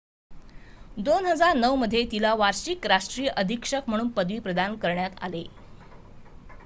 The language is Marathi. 2009 मध्ये तिला वार्षिक राष्ट्रीय अधीक्षक म्हणून पदवी प्रदान करण्यात आले